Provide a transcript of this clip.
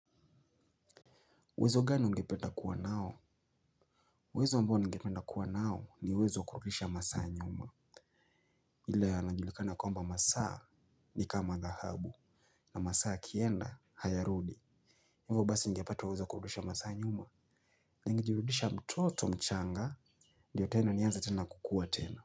Uwezo gani ungependa kuwa nao? Uwezo ambao ningependa kuwa nao ni uwezo wa kurudisha masaa nyuma. Ila yanajulikana kwamba masaa ni kama dhahabu. Na masaa yakienda, hayarudi. Hivyo basi ningepeta uwezo wa kurudisha masaa nyuma. Ni ngejirudisha mtoto mchanga. Ndiyo tena nianze tena kukua tena.